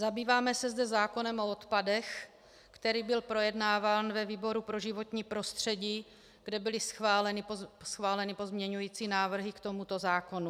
Zabýváme se zde zákonem o odpadech, který byl projednáván ve výboru pro životní prostředí, kde byly schváleny pozměňující návrhy k tomuto zákonu.